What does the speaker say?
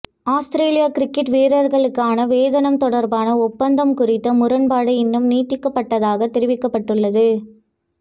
அவுஸ்திரேலிய கிரிக்கட் வீரர்களுக்கான வேதனம் தொடர்பான ஒப்பந்தம் குறித்த முரண்பாடு இன்னும் நீடிப்பதாக தெரிவிக்கப்பட்டுள்ளது